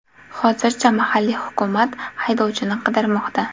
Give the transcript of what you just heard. Hozirda mahalliy hukumat haydovchini qidirmoqda.